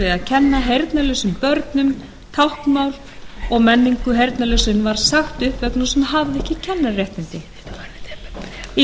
að kenna heyrnarlausum börnum táknmál og menningu heyrnarlausra en var sagt upp vegna þess að hún hafði ekki